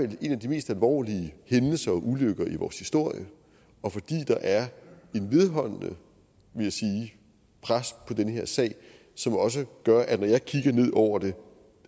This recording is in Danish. en af de mest alvorlige hændelser og ulykker i vores historie og fordi der er et vedholdende vil jeg sige pres på den her sag som også gør at når jeg kigger ned over det